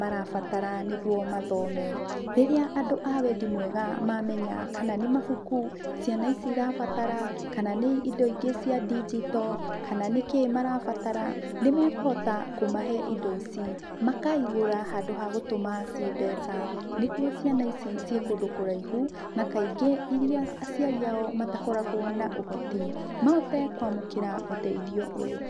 marabatara nĩguo mathome. Rĩrĩa andũ a wendi mwega mamenya kana nĩ mabuku ciana ici ĩrabatara kana nĩ indo ingĩ cia ndigito kana nĩkĩĩ marabatara nĩ mekũhota kũmahe indo ici. Makaĩgũra handũ ha gũtũma ciĩ mbeca, niguo ciana ici ci kũndũ kũraihu na kaingĩ iria aciari ao matakoragwo na ũhoti, mahote kwamũkĩra ũteithio ũyũ.